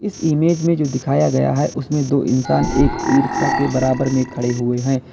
इस इमेज में जो दिखाया गया है उसमें दो इंसान एक ईरिक्शा के बराबर में खड़े हुए हैं।